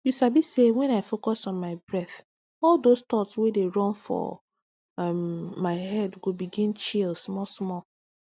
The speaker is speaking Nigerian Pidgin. you sabi say when i focus on my breath all those thoughts wey dey run for um my head go begin chill small small